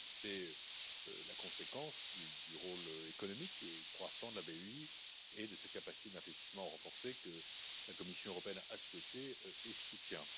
C'est la conséquence du rôle économique croissant de la BEI et de ses capacités d'investissement renforcées, que la Commission européenne a souhaité et soutient.